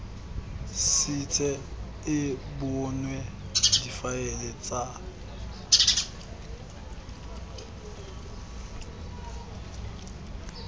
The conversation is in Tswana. setse e bonwe difaele tsa